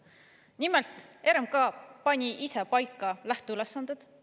Nimelt, RMK pani ise paika lähteülesanded.